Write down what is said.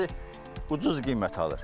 Alıcı ucuz qiymətə alır.